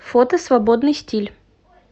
фото свободный стиль